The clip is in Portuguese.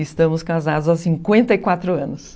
Estamos casados há cinquenta e quatro anos.